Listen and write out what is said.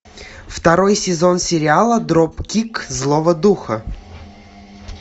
второй сезон сериала дропкик злого духа